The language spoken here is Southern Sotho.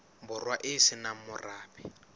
borwa e se nang morabe